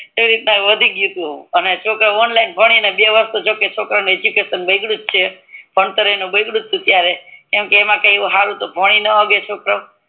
અને ઈ રીતે મહત્વ વધ્યું અને બે વરસ તો જોકે છોકરાઓને એજ્યુકેસન બગડયું જ છે ભણતર બગડયુતઉ જ કેમકે એમ હરું તો કી ભણી નો હકે છોકરા ઓ